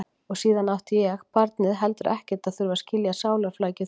Og síðan átti ég, barnið, heldur ekkert að þurfa að skilja sálarflækjur þeirra.